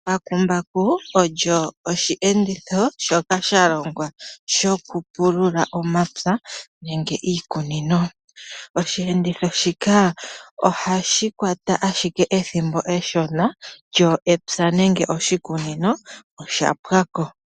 Embakumbaku olyo oshiyenditho shoka shalongwa shokupulula omapya nenge iikunino. Oshiyenditho shika ohashi kwata ashike ethimbo eshona lyo epya nenge oshikunino oshapwa ko.